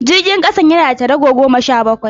Jirgin kasan yana da tarago goma sha bakwai